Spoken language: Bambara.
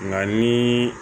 Nka ni